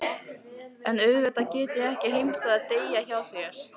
En auðvitað get ég ekki heimtað að deyja hjá þér.